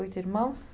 Oito irmãos?